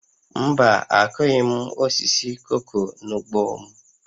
Mba, akụghị m osisi koko n'ugbo m